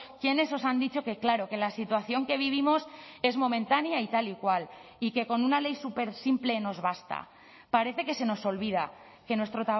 quiénes os han dicho que claro que la situación que vivimos es momentánea y tal y cual y que con una ley súper simple nos basta parece que se nos olvida que nuestro